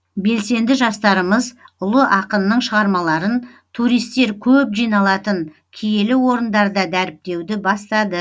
белсенді жастарымыз ұлы ақынның шығармаларын туристер көп жиналатын киелі орындарда дәріптеуді бастады